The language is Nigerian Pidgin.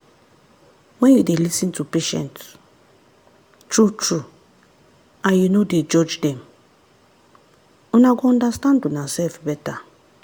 when you dey lis ten to patient true-true and you no dey judge dem una go understand unasef better.